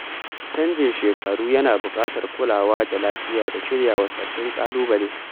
Canjin shekaru yana buƙatar kulawa da lafiya da shiryawa sabbin ƙalubale.